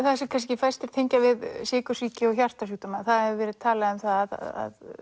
það sem kannski fæstir tengja við sykursýki og hjartasjúkdóma það hefur verið talað um það að